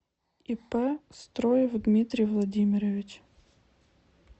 ип строев дмитрий владимирович